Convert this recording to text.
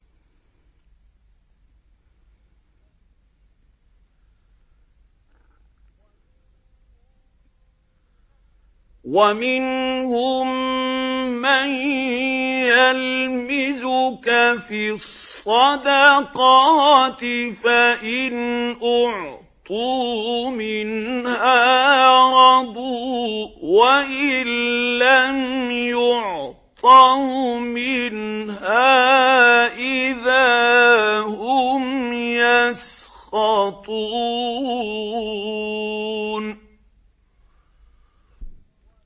وَمِنْهُم مَّن يَلْمِزُكَ فِي الصَّدَقَاتِ فَإِنْ أُعْطُوا مِنْهَا رَضُوا وَإِن لَّمْ يُعْطَوْا مِنْهَا إِذَا هُمْ يَسْخَطُونَ